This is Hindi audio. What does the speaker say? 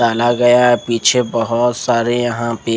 टला गया है पीछे बोहोत सारे यहाँ पर--